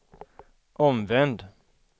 omvänd